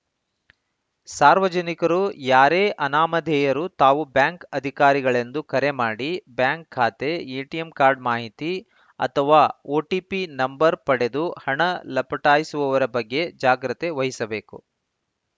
ಸಾರ್ವಜನಿಕರು ಯಾರೇ ಅನಾಮಧೇಯರು ತಾವು ಬ್ಯಾಂಕ್‌ ಅಧಿಕಾರಿಗಳೆಂದು ಕರೆ ಮಾಡಿ ಬ್ಯಾಂಕ್‌ ಖಾತೆ ಎಟಿಎಂ ಕಾರ್ಡ್ ಮಾಹಿತಿ ಅಥವಾ ಓಟಿಪಿ ನಂಬರ್‌ ಪಡೆದು ಹಣ ಲಪಟಾಯಿಸುವವರ ಬಗ್ಗೆ ಜಾಗ್ರತೆ ವಹಿಸಬೇಕು